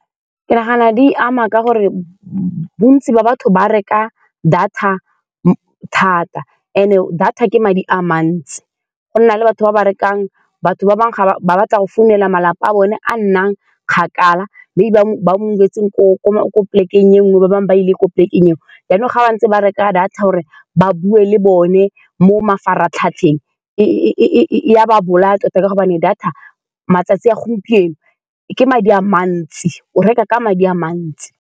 Ke nagana di ama ka gore bontsi ba batho ba reka data thata. And-e data ke madi a mantsi, gona le batho ba ba rekang, batho ba bangwe ga ba, ba batla go founela malapa a bone a a nnang kgakala. Maybe ba ba move-tseng ko-ko ko polekeng e nngwe, ba bangwe ba ile ko polekeng engwe, jaanong ga ba ntse ba reka data gore ba bue le bone mo mafaratlhatlheng, e-e-e-e-e a ba bolaya tota, ka gobane data matsatsi a gompieno ke madi a mantsi. O reka ka madi a mantsi.